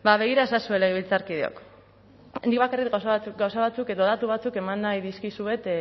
bada begira ezazue legebiltzarkideok nik bakarrik gauza batzuk edo datu batzuk eman nahi dizkizuet